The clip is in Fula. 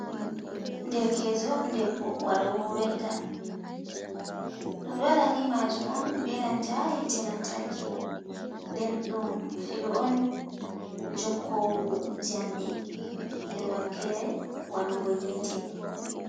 Derkeejo debbo waɗowo welda. Ɗum ɗo waɗa ni majum on be nanta hite lantarki. Nden ɗum filu on jokkowu jamɗe her wakkere waɗugo yite.